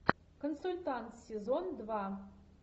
консультант сезон два